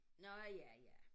Nå ja ja